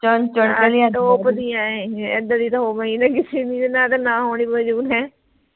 top ਦੀ ਹੈ ਏ ਏਦਾਂ ਦੀਆਂ ਤਾਂ ਹੋਵੇ ਨਾ ਕਿਸੇ ਦੀ ਮੈਂ ਤਾਂ ਨਾ ਹੋਣੇ ਮੰਜੂਰ ਹੈ